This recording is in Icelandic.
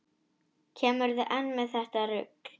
Kemurðu enn með þetta rugl!